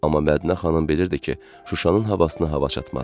Amma Mədinə xanım bilirdi ki, Şuşanın havasına hava çatmaz.